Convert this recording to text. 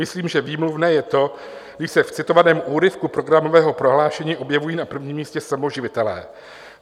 Myslím, že výmluvné je to, když se v citovaném úryvku programového prohlášení objevují na prvním místě samoživitelé.